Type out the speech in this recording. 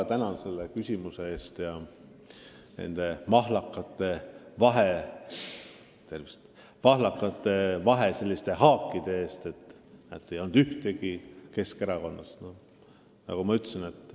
Ma väga tänan selle küsimuse eest ja selle mahlaka vahehaagi eest, et kohal ei olnud ühtegi inimest Keskerakonnast!